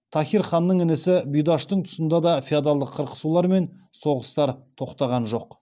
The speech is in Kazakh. таһир ханның інісі бұйдаштың тұсында да феодалдық қырқысулар мен соғыстар тоқтаған жоқ